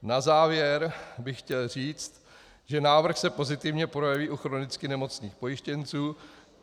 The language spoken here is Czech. Na závěr bych chtěl říct, že návrh se pozitivně projeví u chronicky nemocných pojištěnců.